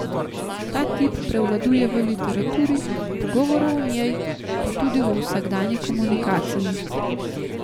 Ta tip prevladuje v literaturi, pogovorov o njej, pa tudi v vsakdanji komunikaciji.